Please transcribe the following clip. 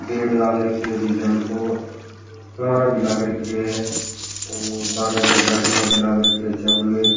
पेड़ लग रखे है डिजाइन को फवारा भी लग रखे है और बहार बाहर जाली भी लग रखे है चारोंमेर।